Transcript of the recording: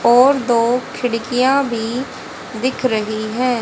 और दो खिड़कियां भी दिख रही है।